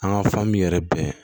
An ka fan min yɛrɛ bɛn